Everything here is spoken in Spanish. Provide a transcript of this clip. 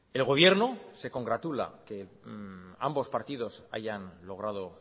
el gobierno se congratula que ambos partidos hayan logrado